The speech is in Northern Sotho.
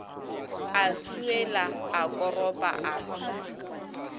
a swiela a koropa a